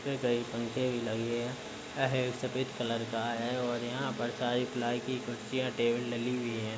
इस पर कई पंखे भी लगे हैं अहे सफ़ेद कलर का है और यहाँ पर सारी प्लाई की कुर्सियां टेबल डली हुई हैं।